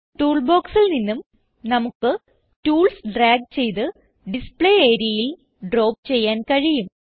tool ബോക്സിൽ നിന്നും നമുക്ക് ടൂൾസ് ഡ്രാഗ് ചെയ്ത് ഡിസ്പ്ലേ areaയിൽ ഡ്രോപ്പ് ചെയ്യാൻ കഴിയും